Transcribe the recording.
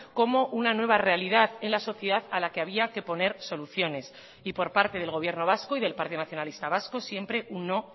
como una nueva realidad en la sociedad a la que había que poner soluciones y por parte del gobierno vasco y del partido nacionalista vasco siempre un no